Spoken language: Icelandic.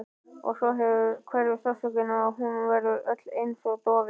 Og svo hverfur sársaukinn og hún verður öll einsog dofin.